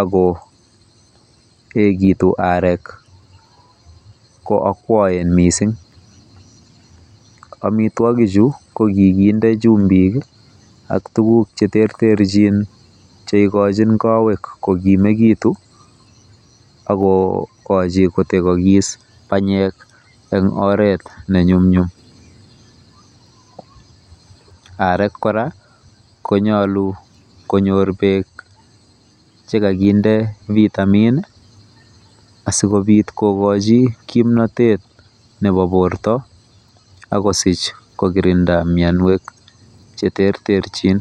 ako egitu arek koakwoen missing, omitwigichu ko kiginde chumbik ak tuguk cheterterjin cheigojin kowek kogimegitun ak kogoji kotegogis banyek en oret neny'umnyum, arwk kora konyolu konyor beek chekoginde vitamin asikobit kokochi kimnatet nebo borto ak kosich kokirinda mianwogik cheterterjin.